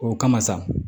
O kama sa